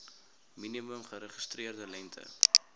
minimum geregistreerde lengte